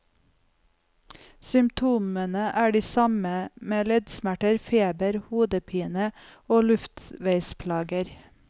Symptomene er de samme, med leddsmerter, feber, hodepine og luftveisplager.